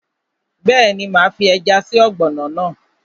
Bẹ́ẹ̀ni, máa fi ẹja sí ọ̀gbọ̀nọ̀ náà